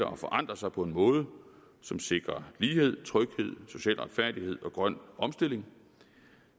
og forandrer sig på en måde som sikrer lighed tryghed social retfærdighed og grøn omstilling